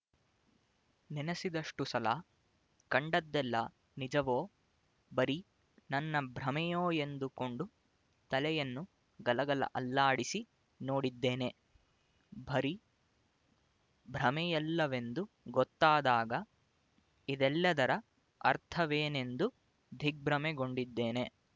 ನೆನಸಿದಷ್ಟು ಸಲ ಕಂಡದ್ದೆಲ್ಲ ನಿಜವೋ ಬರಿ ನನ್ನ ಭ್ರಮೆಯೋ ಎಂದುಕೊಂಡು ತಲೆಯನ್ನು ಗಲಗಲ ಅಲ್ಲಾಡಿಸಿ ನೋಡಿದ್ದೇನೆ ಬರಿ ಭ್ರಮೆಯಲ್ಲವೆಂದು ಗೊತ್ತಾದಾಗ ಇದೆಲ್ಲದರ ಅರ್ಥವೇನೆಂದು ದಿಗ್ಭ್ರಮೆಗೊಂಡಿದ್ದೇನೆ